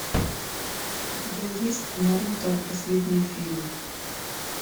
у тебя есть наруто последний фильм